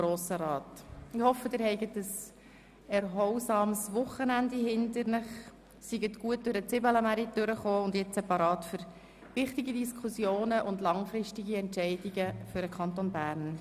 Ich hoffe, Sie hatten ein erholsames Wochenende und sind bereit für wichtige Diskussionen und langfristige Entscheidungen für den Kanton Bern.